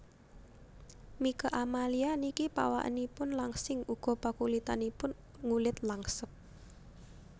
Mieke Amalia niki pawakanipun langsing uga pakulitanipun ngulit langsep